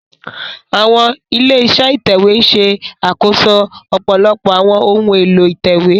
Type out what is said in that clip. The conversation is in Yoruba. Àwọn ilé-iṣẹ́ ìtẹ̀wé ń ṣe àkóso ọ̀pọ̀lọpọ̀ àwọn ohun èlò ìtẹ̀wé